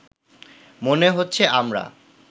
মনে হচ্ছে আমরা